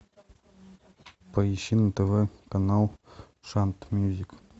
поищи на тв канал шант мьюзик